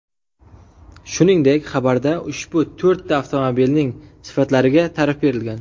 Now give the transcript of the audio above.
Shuningdek, xabarda ushbu to‘rtta avtomobilning sifatlariga ta’rif berilgan.